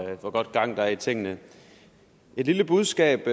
hvor godt gang der er i tingene et lille budskab